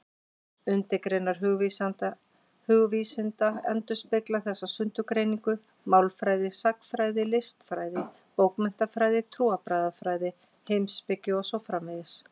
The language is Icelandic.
Undirgreinar hugvísinda endurspegla þessa sundurgreiningu: málfræði, sagnfræði, listfræði, bókmenntafræði, trúarbragðafræði, heimspeki og svo framvegis.